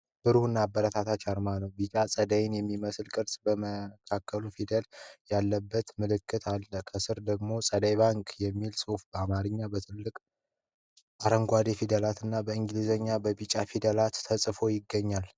ብሩህ እና አበረታች አርማ ነው። ቢጫ ፀሐይን የሚመስል ቅርጽና በመካከሉ ፊደል ያለበት ምልክት አለ። ከስር ደግሞ "ፀሐይ ባንክ" የሚል ጽሑፍ በአማርኛ በትልቅ አረንጓዴ ፊደላትና በእንግሊዘኛ በቢጫ ፊደላት ተጽፎ ይገኛል።